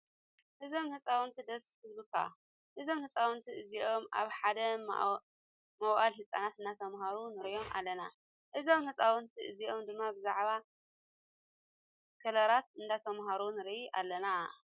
እዞም ህፃውንቲ ደስ ክብልካ። እዞም ህፃውንቲ እዚኦም ኣብ ሓደ ማዋእለ ህፃናት እናተማሃሩ ንሪኦም ኣለና ። እዞም ህፃውንቲ እዚኦም ድማ ብዛዕባ ከለራት እነዳተማሃሩ ንርኢ ኣለና።